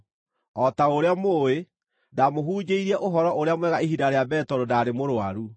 O ta ũrĩa mũũĩ, ndamũhunjĩirie Ũhoro-ũrĩa-Mwega ihinda rĩa mbere tondũ ndaarĩ mũrũaru.